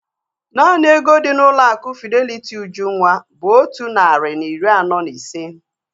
Naanị ego dị n'ụlọ akụ Fideliti Ujunwa bụ otu narị na iri anọ na ise